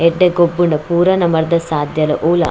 ಎಡ್ಡೆ ಗೊಬ್ಬುಂಡ ಪೂರಾ ನಮರ್ಡ್ದ್ ಸಾದ್ಯಲ ಒವುಲ.